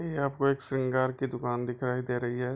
ये आपको एक सिंगार की दुकान दिखाई दे रही है।